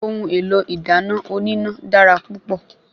Ohun èlò ìdáná oníná dára púpọ̀